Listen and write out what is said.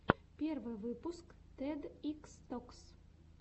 первый выпуск тед икс токс